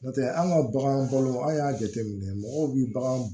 N'o tɛ an ka bagan balo an y'a jateminɛ mɔgɔw bɛ bagan